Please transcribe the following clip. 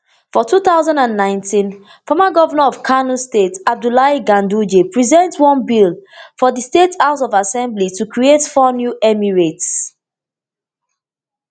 for two thousand and nineteen former govnor of kano state abdullahi ganduje present one bill for di state house of assembly to create four new emirates